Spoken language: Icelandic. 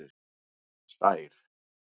Sær